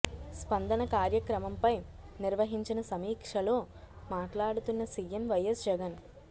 స్పందన కార్యక్రమంపై నిర్వహించిన సమీక్షలో మాట్లాడుతున్న సీఎం వైఎస్ జగన్